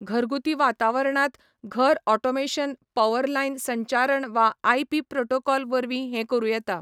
घरगुती वातावरणांत, घर ऑटोमेशन पॉवरलायन संचारण वा आयपी प्रोटोकॉल वरवीं हें करूं येता.